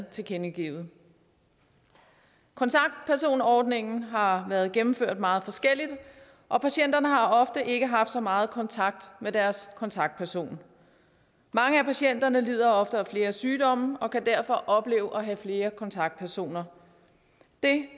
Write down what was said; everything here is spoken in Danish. tilkendegivet kontaktpersonordningen har været gennemført meget forskelligt og patienterne har ofte ikke haft så meget kontakt med deres kontaktperson mange af patienterne lider ofte af flere sygdomme og kan derfor opleve at have flere kontaktpersoner det